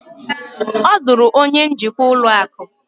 ọ lụrụ onye njikwa ụlọ akụ